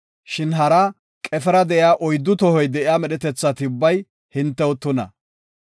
Shin hara qefera de7iya oyddu tohoy de7iya medhetethati ubbay hintew tuna.